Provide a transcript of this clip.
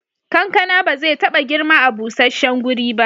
Kankana ba zai taba girma a busasshen guri ba.